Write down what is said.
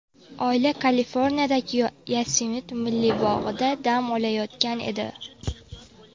Oila Kaliforniyadagi Yosemit milliy bog‘ida dam olayotgan edi.